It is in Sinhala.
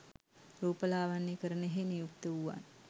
රූපලාවන්‍යකරණයෙහි නියුක්ත වූවන්